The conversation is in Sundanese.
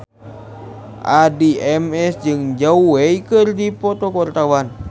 Addie MS jeung Zhao Wei keur dipoto ku wartawan